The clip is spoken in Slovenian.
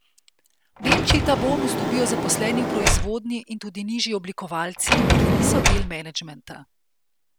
V Nemčiji ta bonus dobijo zaposleni v proizvodnji in tudi nižji oblikovalci, ki niso del menedžmenta.